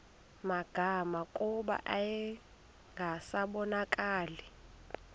magama kuba yayingasabonakali